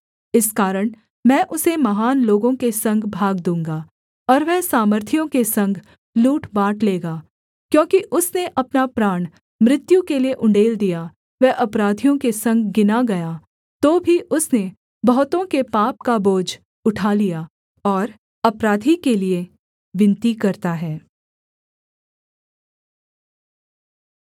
इस कारण मैं उसे महान लोगों के संग भाग दूँगा और वह सामर्थियों के संग लूट बाँट लेगा क्योंकि उसने अपना प्राण मृत्यु के लिये उण्डेल दिया वह अपराधियों के संग गिना गया तो भी उसने बहुतों के पाप का बोझ उठा लिया और अपराधी के लिये विनती करता है